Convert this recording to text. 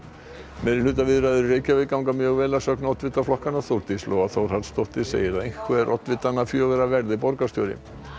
meirihlutaviðræður í Reykjavík ganga mjög vel að sögn oddvita flokkanna Þórdís Lóa Þórhallsdóttir segir að einhver oddvitanna fjögurra verði borgarstjóri